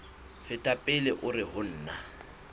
feta pele hore ho na